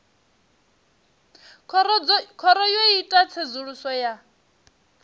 khoro yo ita tsedzuluso ya